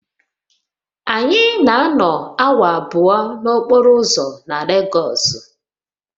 Anyị na-anọ awa abụọ n'okporo ụzọ na Legosu